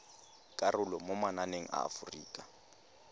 karolo mo mananeng a aforika